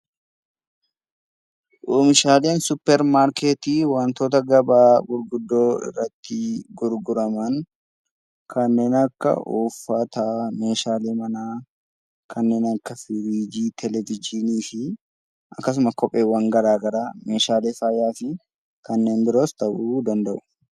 Oomishaaleen suppeer markeeti gabaa gurguddoo irratti gurguraman kanneen akka uffata, meeshaalee mana, kanneen akka firiijii, televejiini fi kopheewwaan garaagaraa meeshaalee faayaa fi kanneen biroos ta'u danda'u.